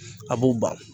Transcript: A b'u ban